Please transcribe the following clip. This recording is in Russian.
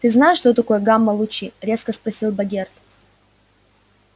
ты знаешь что такое гамма-лучи резко спросил богерт